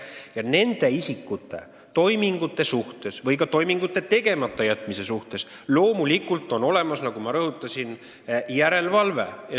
Nagu ma rõhutasin, nende isikute toimingute või ka toimingute tegemata jätmise üle on loomulikult olemas järelevalve.